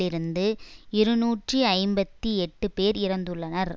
இருந்து இருநூற்றி ஐம்பத்தி எட்டு பேர் இறந்துள்ளனர்